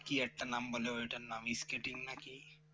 কি একটা নাম বললে ওটার নাম skating